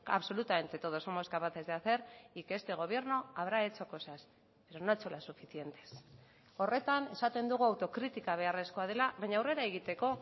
absolutamente todos somos capaces de hacer y que este gobierno habrá hecho cosas pero no ha hecho las suficientes horretan esaten dugu autokritika beharrezkoa dela baina aurrera egiteko